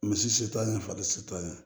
Misi se t'an ye fali se t'an ye